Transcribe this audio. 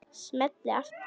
Smelli aftur.